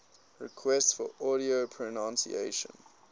requests for audio pronunciation